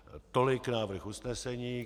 Tolik návrh usnesení.